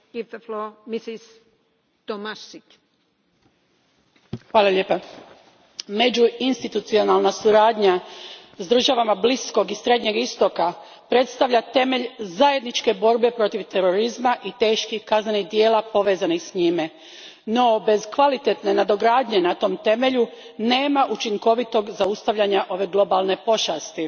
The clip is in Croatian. Gospođo predsjednice, međuinstitucionalna suradnja s državama Bliskog i Srednjeg istoka predstavlja temelj zajedničke borbe protiv terorizma i teških kaznenih djela povezanih s njime, no bez kvalitetne nadogradnje na tom temelju nema učinkovitog zaustavljanja ove globalne pošasti.